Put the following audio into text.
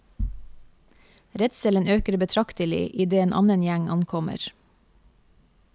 Redselen øker betraktelig i det en annen gjeng ankommer.